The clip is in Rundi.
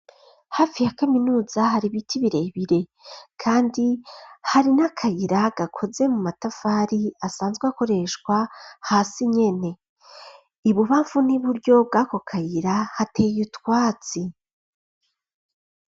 Hafi ya kaminuza hari biti birebire ,kandi hari n'akayira gakoze mu matafari asanzwe akoreshwa hasi nyene, ibubafu n'iburyo bwako kayira hateye utwatsi.